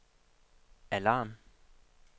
alarm